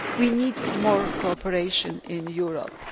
We need more cooperation in Europe.